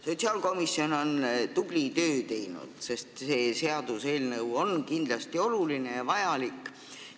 Sotsiaalkomisjon on tubli töö ära teinud, see seaduseelnõu on kindlasti oluline ja vajalik.